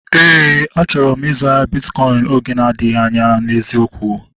Éè, achọrọ m ịzụ ahịa bitkọin oge na-adịghị anya n'eziokwu